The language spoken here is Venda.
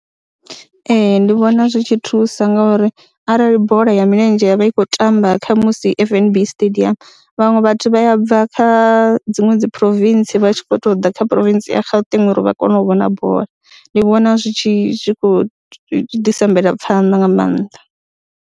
Ee, ndi vhona zwi tshi thusa ngori arali bola ya milenzhe ya vha i khou tamba khamusi F_N_B stadium vhaṅwe vhathu vha ya bva kha dziṅwe dzi province vha tshi khou tou ḓ kha province ya Gauteng uri vha kone u vhona bola, ndi vhona zwi tshi zwi khou ḓisa mvelaphanḓa nga maanḓa.